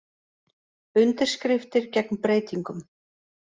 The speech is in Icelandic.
Undirskriftir gegn breytingum